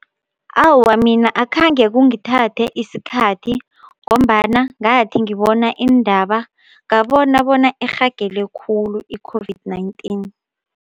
Awa, mina akhange kungithathe isikhathi ngombana ngathi ngibona iindaba ngabona bona irhagele khulu i-COVID-19.